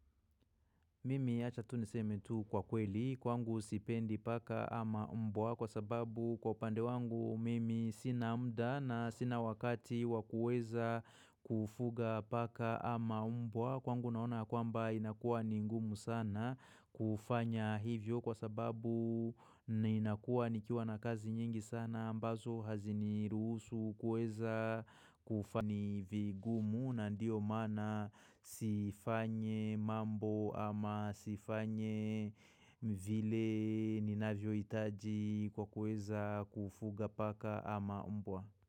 Mimi achatuniseme tu kwakweli kwangu sipendi paka ama mbwa kwa sababu kwaupande wangu mimi sina mda na sina wakati wakueza kufuga paka ama mbwa kwangu naona kwamba inakua ni ngumu sana kufanya hivyo kwa sababu inakua nikiwa na kazi nyingi sana ambazo hazini ruhusu kuweza kufanya. Ni vigumu na ndio mana sifanyi mambo ama sifanye vile ninavyo itaji kwa kueza kufuga paka ama mbwa.